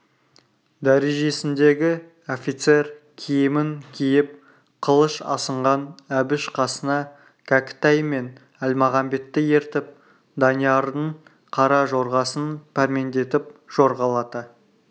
дәрежесіндегі офицер киімін киіп қылыш асынған әбіш қасына кәкітай мен әлмағамбетті ертіп даниярдың қара жорғасын пәрмендетіп жорғалата